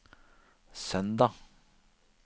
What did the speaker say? søndag